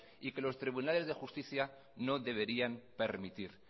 y que los tribunales de justicia no deberían permitir